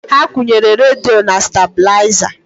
Ha kwunyere radio na stabilizer